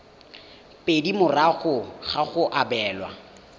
pedi morago ga go abelwa